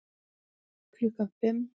Klukkan fimm